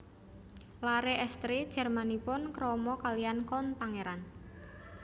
Laré èstri Jermanipun krama kalihan Count pangeran